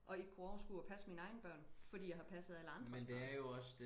Og ikke kunne overskue at passe mine egne børn fordi jeg har passet alle andres børn